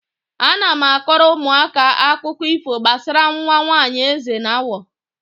Ana m akọrọ ụmụaka akụkọ ifo gbasara nwa nwaanyị eze na awọ.